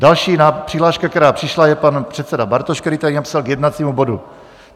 Další přihláška, která přišla, je pan předseda Bartoš, který tady napsal "k jednacímu bodu".